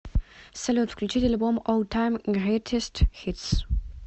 салют включить альбом ол тайм грейтест хитс